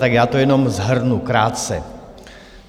Tak já to jenom shrnu krátce.